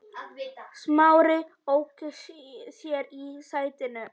Smári ók sér í sætinu.